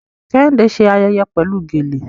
Kẹ́hìndé ṣe ayẹyẹ pẹ̀lú gèlè